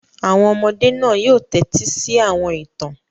Àwọn ọmọdé náà yóò tẹ́tí sí àwọn ìtàn.